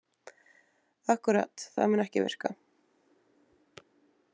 Akkúrat, það mun ekki virka.